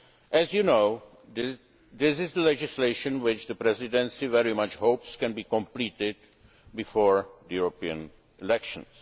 and gas. As you know, this is legislation which the Presidency very much hopes can be completed before the European elections.